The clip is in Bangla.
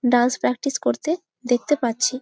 ডান্স প্রেক্টিস করতে দেখতে পারছি ।